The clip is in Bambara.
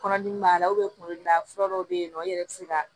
Kɔnɔdimi b'a la kun de la fura dɔw bɛ yen nɔ i yɛrɛ bɛ se ka